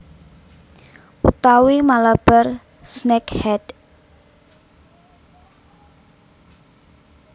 Utawi Malabar snakehead